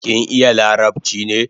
Kin iya larabchi ne?